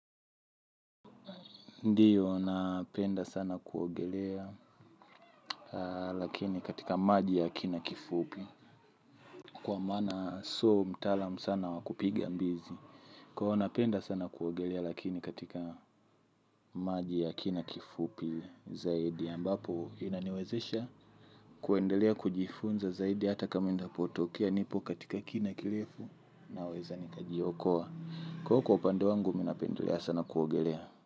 Ndiyo ninapenda sana kuogelea lakini katika maji ya kina kifupi. Kwa maana sio mtaalamu sana wakupiga mbizi. Kwa hivyo ninapenda sana kuogelea lakini katika maji ya kina kifupi zaidi ambapo inaniwezesha kuendelea kujifunza zaidi hata kama iendapotokea nipo katika kina kirefu ninaweza nikajiokoa. Kwa hivyo kwa upande wangu mimi ninapendelea sana kuogelea.